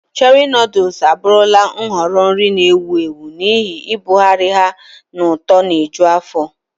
Cherie noodles abụrụla nhọrọ nri na-ewu ewu n'ihi ibugharị ha na ụtọ na-eju afọ.